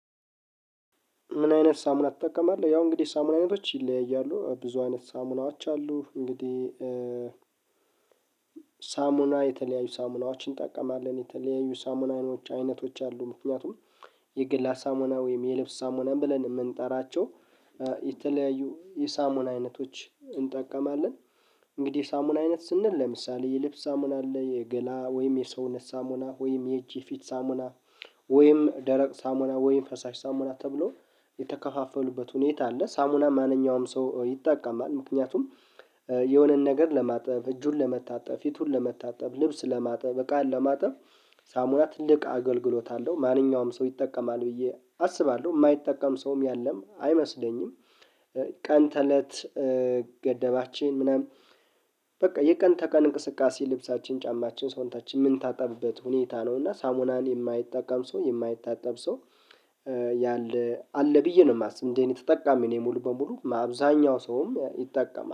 ምን አይነት ሳሙና ትጠቀማለህ? ያው እንግዲህ ሳሙና አይነቶች ይለያያሉ ብዙ አይነት ሳሙናዎች አሉ እንግዲህ ሳሙና የተለያዩ ሳሙናዎችን እንጠቀማለን። የተለያዩ ሳሙናዎች አይነቶች አሉ ምክንያቱም የግላ ሳሙና ወይም የልብስ ሳሙናም ብለን የምንጠራቸው የተለያዩ የሳሙን አይነቶች እንጠቀማለን፣ እንግዲህ የሳሙና አይነት ስንል ለምሳሌ የልብስ ሳሙና አለ፣ የገላ ወይም የሰውነት ሳሙና ወይም የእጅ የፊት ሳሙና ወይም ደረቅ ሳሙና ወይም ፈሳሽ ሳሙና ተብሎ የተከፋፈሉበት ሁኔታ አለ ሳሙና ማንኛውም ሰው ይጠቃማል፣ ምክንያቱም የሆነን ነገር ለማጠብ እጁን ለመታጠብ ፊቱን ለመታጠብ ልብስ ለማጠብ በቃን ለማጠብ ሳሙና ትልቅ አገልግሎት አለው። ማንኛውም ሰው ይጠቀማል ብዬ አስባለሁ የማይጠቀም ሰውም ያለም አይመስለኝም ቀን ተእለት ገደባችን ምናምን በቃ የቀን ተቀን እንቅስቃሴ ልብሳችን ጫማችን ሰውነታችን ምንታጠብበት ሁኔታ ነው፣ እና ሳሙናን የማይጠቀም ሰው የማይታጠብ ሰው ያለ አለ ብዬ ነው የማስበው እንዴ እኔ ተጠቃሚ እኔ ሙሉ በሙሉ አብዛኛው ሰውም ይጠቀማል።